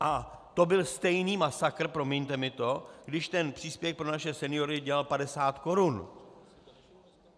A to byl stejný masakr, promiňte mi to, když ten příspěvek pro naše seniory dělal 50 korun.